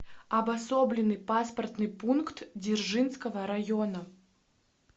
обособленный паспортный пункт дзержинского района